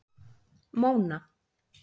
Móna